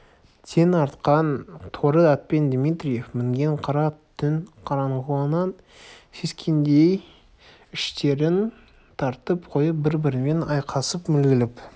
тең артқан торы ат пен дмитриев мінген қара ат түн қараңғылығынан сескенгендей іштерін тартып қойып бір-бірімен айқасып мүлгіп